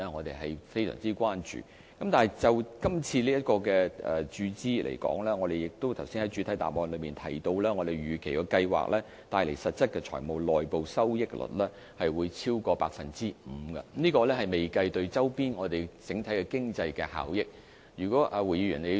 但是，就今次的注資方案來說，正如我剛才在主體答覆也提到，預期擴建及發展計劃帶來實質財務內部收益率會超過 5%， 而且對周邊整體經濟帶來的效益尚未計算在內。